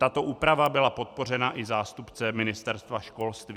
Tato úprava byla podpořena i zástupcem Ministerstva školství.